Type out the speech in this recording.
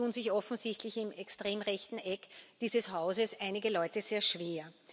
Da tun sich offensichtlich im extrem rechten Eck dieses Hauses einige Leute sehr schwer.